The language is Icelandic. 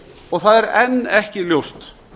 og það er enn ekki ljóst